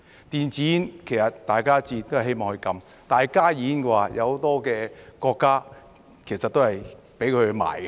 電子煙，其實大家都希望禁止，但加熱煙的話，有很多國家其實都是准許售賣。